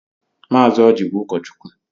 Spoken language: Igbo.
Mazi Ọji bụ ụkọchukwu.